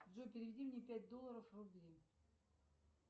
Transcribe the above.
джой переведи мне пять долларов в рубли